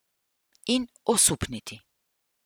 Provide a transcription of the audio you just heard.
In osupniti.